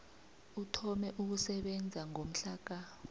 uthome ukusebenza ngomhlaka